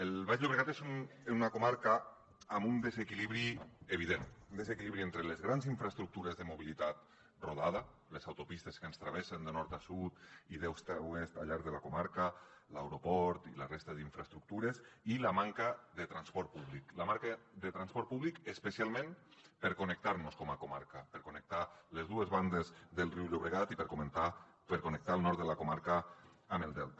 el baix llobregat és una comarca amb un desequilibri evident un desequilibri entre les grans infraestructures de mobilitat rodada les autopistes que ens travessen de nord a sud i d’est a oest al llarg de la comarca l’aeroport i la resta d’infraestructures i la manca de transport públic la manca de transport públic especialment per connectar nos com a comarca per connectar les dues bandes del riu llobregat i per connectar el nord de la comarca amb el delta